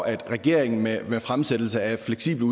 at regeringen med med fremsættelse af fleksible